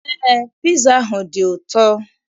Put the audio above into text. Eé, piza ahụ dị ụtọ.